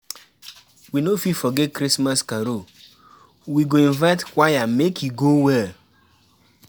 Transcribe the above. We no fit forget Christmas carol, we go invite choir make e go well.